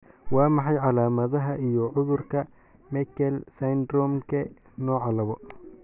Waa maxay calaamadaha iyo calaamadaha cudurka Meckel syndromke nooca laabo?